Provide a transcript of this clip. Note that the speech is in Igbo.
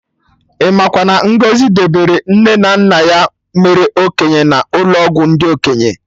Imakwa na Ngozi debere nne na nna ya mere okenye n'ụlọ ọgwụ ndị okenye